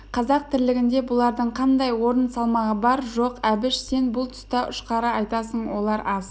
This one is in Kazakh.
қазақ тірлігінде бұлардың қандай орын салмағы бар жоқ әбіш сен бұл тұста ұшқары айтасың олар аз